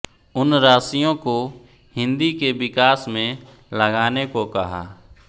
उन राशियों को हिन्दी के विकास में लगाने को कहा